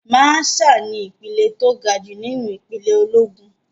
Màṣáà ni ìpele tó gajù nínú ìpele ológun.